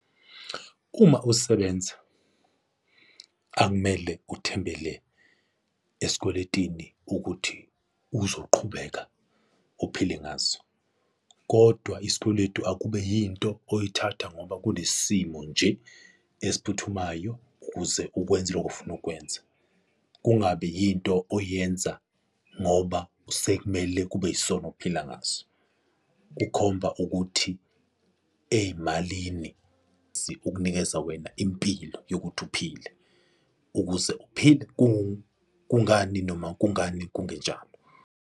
Uma usebenza, akumele uthembele esikweletini ukuthi uzoqhubeka ophile ngaso, kodwa isikweletu akube yinto oyithatha ngoba kunesimo nje esiphuthumayo ukuze ukwenze lokho ofuna ukwenza kungabi yinto oyenza ngoba sekumele kube yisona okuphila ngaso. Kukhomba ukuthi uthey'malini kukunikeza wena, impilo yokuthi uphile, ukuze uphile kungani, noma kungani kungenjalo.